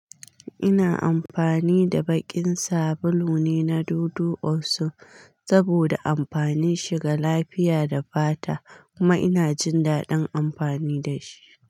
Ina amfani da baƙin sabulu ne na Dudu Osun saboda amfanin shi ga lafiya da fata kuma ina jin daɗin amfani da shi.